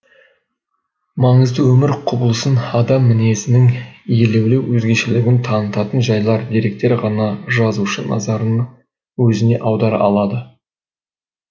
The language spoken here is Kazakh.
маңызды өмір құбылысын адам мінезінің елеулі өзгешелігін танытатын жайлар деректер ғана жазушы назарын өзіне аудара алады